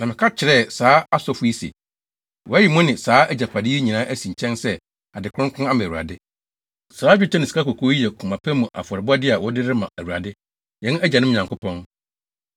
Na meka kyerɛɛ saa asɔfo yi se, “Wɔayi mo ne saa agyapade yi nyinaa asi nkyɛn sɛ ade kronkron ama Awurade. Saa dwetɛ ne sikakɔkɔɔ yi yɛ koma pa mu afɔrebɔde a wɔde rema Awurade, yɛn agyanom Nyankopɔn.